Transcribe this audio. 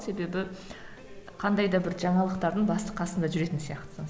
себебі қандай да бір жаңалықтардың басы қасында жүретін сияқтысың